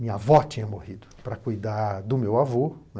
Minha avó tinha morrido para cuidar do meu avô.